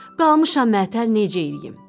Qalmışam mətəl necə eləyim?